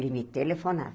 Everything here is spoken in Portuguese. Ele me